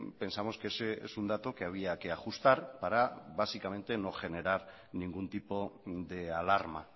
pensamos que es un dato que había que ajustar para básicamente no generar ningún tipo de alarma